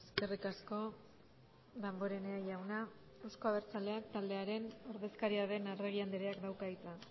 eskerrik asko damborenea jauna euzko abertzaleak taldearen ordezkaria den arregi andreak dauka hitza